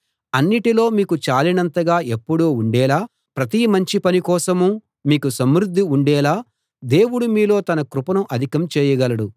అన్నిటిలో మీకు చాలినంతగా ఎప్పుడూ ఉండేలా ప్రతి మంచి పని కోసమూ మీకు సమృద్ధి ఉండేలా దేవుడు మీలో తన కృపను అధికం చేయగలడు